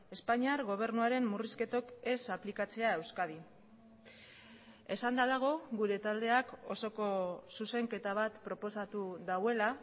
espainiar gobernuaren murrizketok ez aplikatzea euskadin esanda dago gure taldeak osoko zuzenketa bat proposatu duela